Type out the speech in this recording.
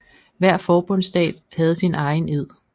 Hver forbundsstat havde sin egen ed